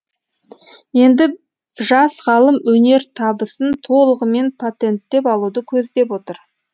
енді жас ғалым өнертабысын толығымен патенттеп алуды көздеп отыр